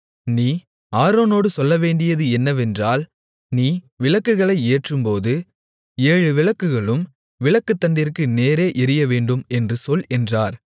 நீ ஆரோனோடு சொல்லவேண்டியது என்னவென்றால் நீ விளக்குகளை ஏற்றும்போது ஏழு விளக்குகளும் விளக்குத்தண்டிற்கு நேரே எரியவேண்டும் என்று சொல் என்றார்